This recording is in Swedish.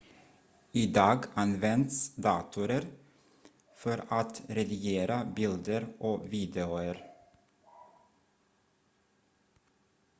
idag används datorer för att redigera bilder och videor